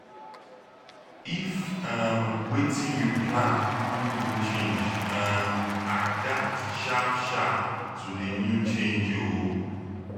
if um wetin you plan con go change um adapt sharp sharp to di new change o